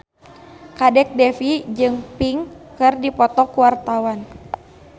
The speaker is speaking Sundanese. Kadek Devi jeung Pink keur dipoto ku wartawan